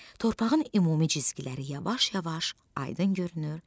Torpağın ümumi cizgiləri yavaş-yavaş aydın görünür,